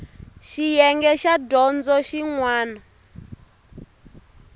xiyenge xa dyondzo xin wana